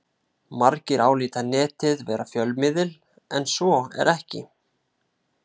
Margir álíta Netið vera fjölmiðil en svo er ekki.